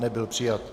Nebyl přijat.